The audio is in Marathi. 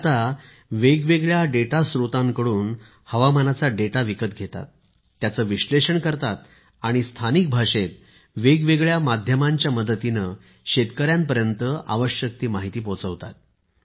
ते आता वेगवेगळ्या डेटा स्त्रोतांकडून हवामानाचा डेटा विकत घेतात त्याचे विश्लेषण करतात आणि स्थानिक भाषेत वेगवेगळ्या माध्यमांच्या मदतीने शेतकऱ्यांपर्यंत आवश्यक ती माहिती पोचवतात